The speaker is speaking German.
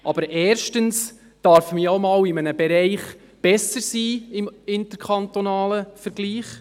Aber erstens darf man ja im interkantonalen Vergleich auch einmal in einem Bereich besser sein.